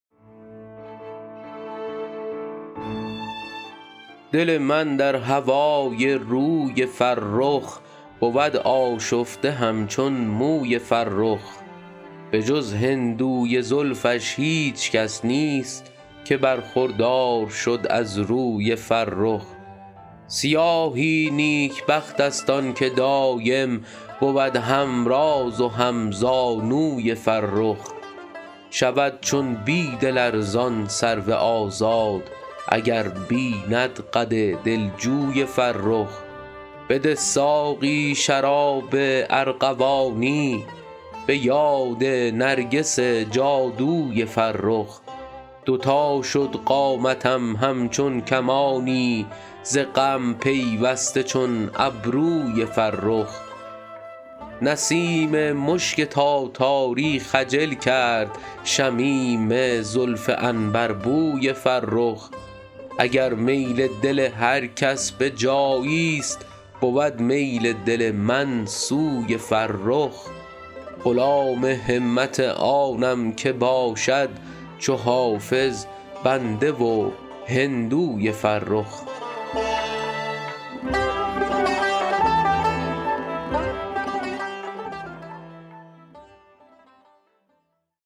دل من در هوای روی فرخ بود آشفته همچون موی فرخ به جز هندوی زلفش هیچ کس نیست که برخوردار شد از روی فرخ سیاهی نیکبخت است آن که دایم بود هم راز و هم زانوی فرخ شود چون بید لرزان سرو آزاد اگر بیند قد دلجوی فرخ بده ساقی شراب ارغوانی به یاد نرگس جادوی فرخ دو تا شد قامتم همچون کمانی ز غم پیوسته چون ابروی فرخ نسیم مشک تاتاری خجل کرد شمیم زلف عنبربوی فرخ اگر میل دل هر کس به جایی ست بود میل دل من سوی فرخ غلام همت آنم که باشد چو حافظ بنده و هندوی فرخ